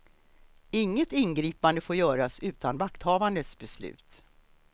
Inget ingripande får göras utan vakthavandes beslut.